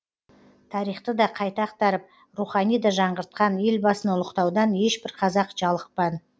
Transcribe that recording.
тарихты да қайта ақтарып рухани да жаңғыртқан елбасыны ұлықтаудан ешбір қазақ жалықпан